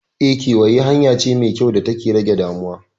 Eh, kewaye hanya ce mai kyau data ke rage damuwa.